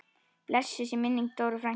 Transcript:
Blessuð sé minning Dóru frænku.